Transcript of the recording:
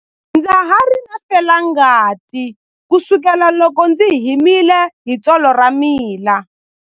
Ndza ha ri na felangati kusukela loko ndzi himile hi tsolo ra mina.